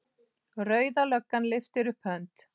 Rauða löggan lyftir upp hönd.